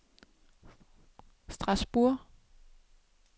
Strasbourg